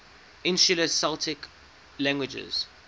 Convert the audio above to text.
insular celtic languages